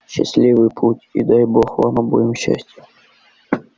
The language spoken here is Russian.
счастливый путь и дай бог вам обоим счастия